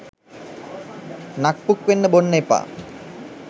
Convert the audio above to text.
නක් පුක් වෙන්න බොන්න එපා